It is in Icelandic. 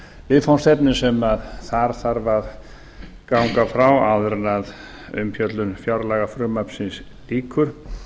viðfangsefnum sem þarf að ganga frá áður en umfjöllun fjárlagafrumvarpsins lýkur